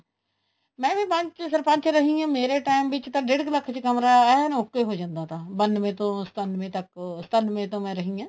ਮੈਂ ਵੀ ਸਰਪੰਚ ਰਹੀ ਆ ਮੇਰੇ time ਚ ਤਾਂ ਡੇਡ ਲੱਖ ਚ ਕਮਰਾ ਐਨ okay ਹੋ ਜਾਂਦਾ ਤਾਂ ਬਾਨਵੇ ਤੋਂ ਸਤਾਨਵੇ ਤੱਕ ਸਤਾਨਵੇ ਤੋਂ ਮੈਂ ਰਹੀ ਹਾਂ